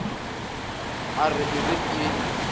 a re e re ke